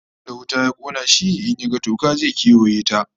Duk wanda wuta ta kona shi, in ya ga toka, zai kewaye ta